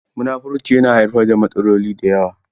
Munafurci yana haifar da matsaloli da yawa.